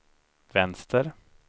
vänster